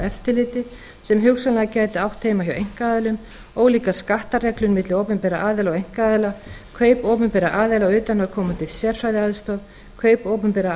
eftirliti sem hugsanlega gæti átt heima hjá einkaaðilum ólíkar skattareglur milli opinberra aðila og einkaaðila kaup opinberra aðila á utanaðkomandi sérfræðiaðstoð kaup opinberra